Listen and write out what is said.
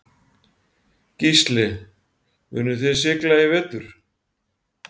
Gísli: Munuð þið sigla í vetur?